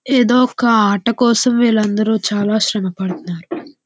ఇదొక ఆట కోసం వీళ్ళందరూ చాలా శ్రమ పడుతున్నారు.